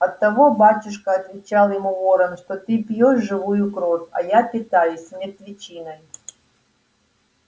оттого батюшка отвечал ему ворон что ты пьёшь живую кровь а я питаюсь мертвечиной